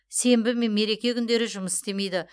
сенбі мен мереке күндері жұмыс істемейді